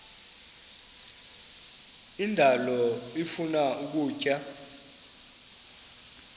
indalo ifuna ukutya